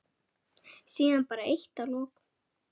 Síðan bara eitt að lokum.